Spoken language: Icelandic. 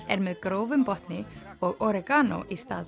er með grófum botni og oregano í stað